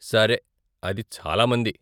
సరే, అది చాలా మంది.